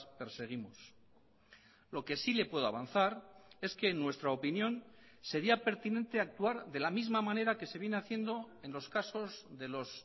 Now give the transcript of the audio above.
perseguimos lo que sí le puedo avanzar es que en nuestra opinión sería pertinente actuar de la misma manera que se viene haciendo en los casos de los